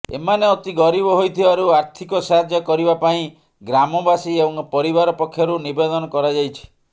ଏମାନେ ଅତି ଗରିବ ହୋଇଥିବାରୁ ଆର୍ଥିକ ସାହାଯ୍ୟ କରିବା ପାଇଁ ଗ୍ରାମବାସୀ ଏବଂ ପରିବାର ପକ୍ଷରୁ ନିବେଦନ କରାଯାଇଛି